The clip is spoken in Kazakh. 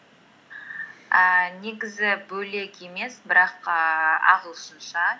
ііі негізі бөлек емес бірақ ііі ағылшынша